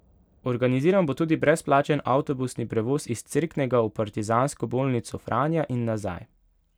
Organiziran bo tudi brezplačen avtobusni prevoz iz Cerknega v Partizansko bolnico Franja in nazaj.